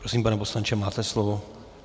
Prosím, pane poslanče, máte slovo.